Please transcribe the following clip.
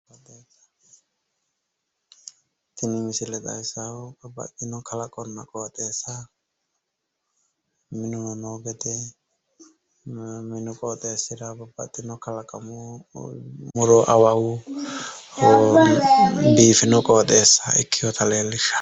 Tini misile xawissaahu babbaxino kalaqonna qooxeessa minuno noo gede, minu qooxeessira babbaxxino kalaqamu muro awawu biifino qooxeessa ikkewota leellishshaa.